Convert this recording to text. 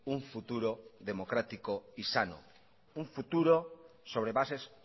un futuro democrático y sano un futuro sobre bases